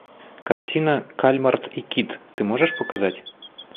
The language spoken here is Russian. картина кальмар и кит ты можешь показать